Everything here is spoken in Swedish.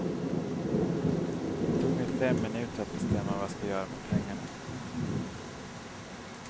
Det tog mig fem minuter att bestämma vad jag ska göra med pengarna.